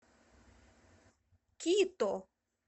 кито